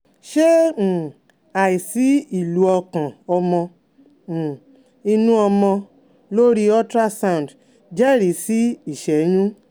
Ṣé um àìsí ìlù ọkàn ọmọ um inú ọmọ lórí ultrasound jẹ́rìí sí ìṣẹ́yún?